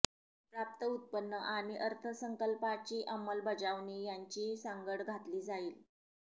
प्राप्त उत्पन्न आणि अर्थसंकल्पाची अंमलबजावणी यांची सांगड घातली जाईल